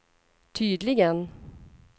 tydligen